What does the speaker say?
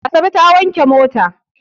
Asabe ta wanke mota.